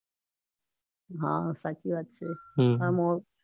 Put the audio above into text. . હા સાચી વાત છે હમ